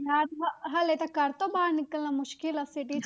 ਹਾਲੇ ਤਾਂ ਘਰ ਤੋਂ ਬਾਹਰ ਨਿਕਲਣਾ ਮੁਸ਼ਕਲ ਆ city